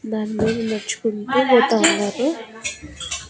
దానిమీద నడ్చుకుంటూ పోతా ఉన్నారు.